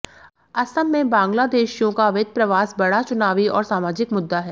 असम में बांग्लादेशियों का अवैध प्रवास बड़ा चुनावी और सामाजिक मुद्दा है